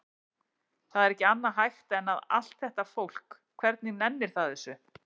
Það er ekki annað hægt en að. allt þetta fólk, hvernig nennir það þessu?